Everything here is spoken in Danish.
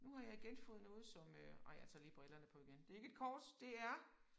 Nu har jeg igen fået noget som øh ej jeg tager lige brillerne på igen. Det ikke et kort det er